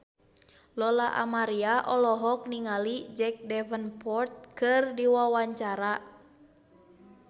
Lola Amaria olohok ningali Jack Davenport keur diwawancara